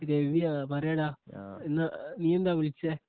രാവിയോ പറയടാ ആ ഇന്ന് നീയെന്താ വിളിച്ചേ